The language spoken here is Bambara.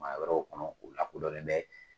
Jaman wɛrɛw kɔnɔ, u la kodɔnlen bɛ.